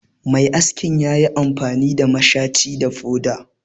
Mai askin ya yi amfani da mashaci da foda